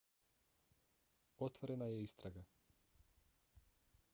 otvorena je istraga